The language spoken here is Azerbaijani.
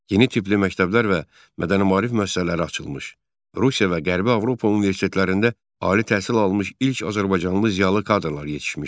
Yeni tipli məktəblər və mədəni-maarif müəssisələri açılmış, Rusiya və Qərbi Avropa universitetlərində ali təhsil almış ilk azərbaycanlı ziyalı kadrlar yetişmişdi.